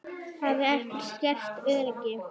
Það hafi skert öryggi.